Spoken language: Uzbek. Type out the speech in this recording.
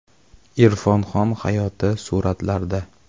Irfon Xon hayoti suratlarda.